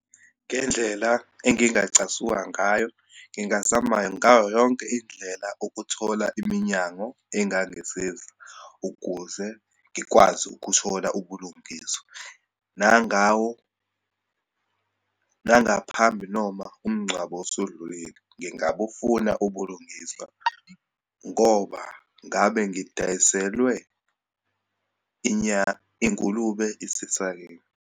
Ngendlela engingacasuka ngayo, ngingazama ngayo yonke indlela ukuthola iminyango engangisiza ukuze ngikwazi ukuthola ubulungiswa, nangawo, nangaphambi noma umngcwabo osudlulile. Ngingabufuna ubulungiswa ngoba ngabe ngidayiselwe ingulube isesakeni.